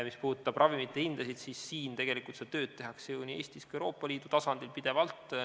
Mis puudutab ravimite hinda, siis tegelikult seda tööd tehakse ju nii Eestis kui ka Euroopa Liidu tasandil pidevalt.